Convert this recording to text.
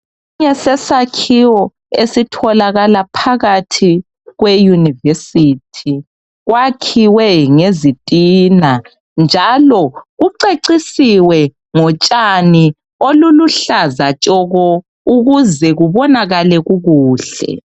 Ngesinye sesakhiwo esitholakala phakathi kwe university kwakhiwe ngezitina njalo kucecisiwe ngotshani oluluhlaza tshoko ukuze kubonakale ubuhle